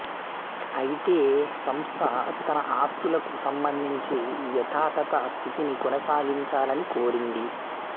అయితే సంస్థ తన ఆస్తులకు సంబంధించి యథాతథ స్థితిని కొనసాగించాలని కోరింది